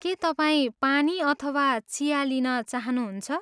के तपाईँ पानी अथवा चिया लिन चाहनुहुन्छ?